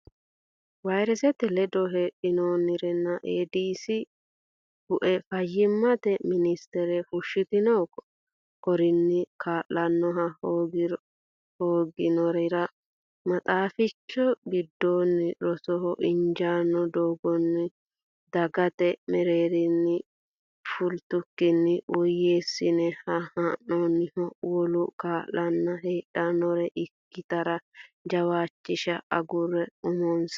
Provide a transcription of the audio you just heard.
Vayresete ledo heedhannoriranna Eedisi Bue Fayyimate Minstere fushshitino korinni kaa lannoha hoogginorira maxaaficho giddonni rosoho injaanno dagoomunna dagate mereerinni fultukkinni woyyeessine haa noonniho wolu kaa lanna heedhannore ikkitara jawaachisha agurre umonsa.